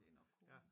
Det nok konen